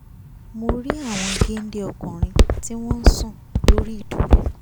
mo rí àwọn géńdé ọkùnrin tí wọ́n ń sùn lórí ìdúró